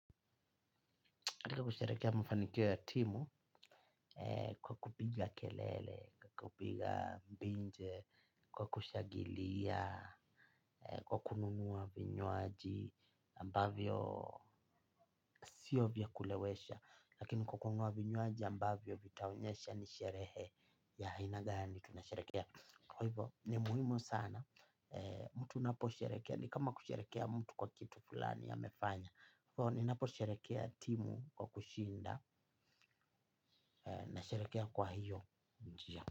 Naposheherekea mafanikio ya timu kwa kupiga kelele kwa kupiga binja kwa kushangilia kwa kununua vinywanji ambavyo sio vya kulewesha. Lakini kwa kununua vinywaaji ambavyo vitaonyesha nisherehe ya aina gani tunasherekea. Kwa hivo ni muhimu sana mtu anapo sherekea ni kama kusherekea mtu kwa kitu fulani amefanya. So ninapo sherehekea timu kwa kushinda. Na sherehekea kwa hiyo.